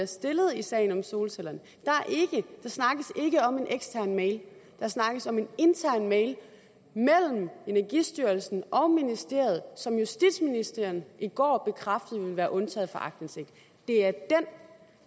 stillet i sagen om solcellerne der snakkes ikke om en ekstern mail der snakkes om en intern mail mellem energistyrelsen og ministeriet som justitsministeren i går bekræftede ville være undtaget fra aktindsigt det er den